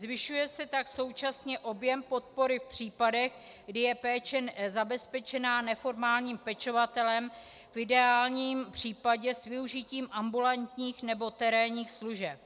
Zvyšuje se tak současně objem podpory v případech, kdy je péče zabezpečená neformálním pečovatelem, v ideálním případě s využitím ambulantních nebo terénních služeb.